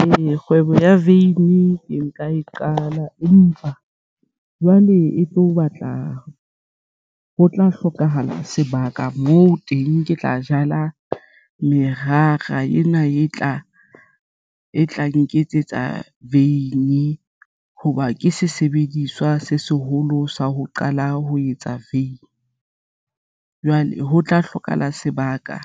Ee, kgwebo ya veini ke nka e qala empa jwale e tlo batla ho tla hlokahala sebaka moo teng ke tla jala merara ena e tla nketsetsa vein hoba ke sesebediswa se seholo sa ho qala ho etsa vein jwale ho tla hlokahala sebaka,